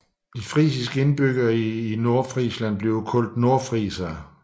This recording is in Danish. Nordfrisere er betegnelsen for frisiske indbyggere i Nordfrisland i Tyskland